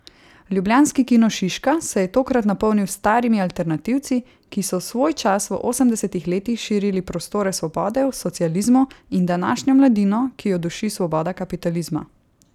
Ljubljanski Kino Šiška se je tokrat napolnil s starimi alternativci, ki so svojčas v osemdesetih letih širili prostore svobode v socializmu, in današnjo mladino, ki jo duši svoboda kapitalizma.